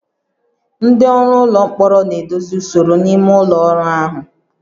Ndị ọrụ ụlọ mkpọrọ na-edozi usoro n'ime ụlọ ọrụ ahụ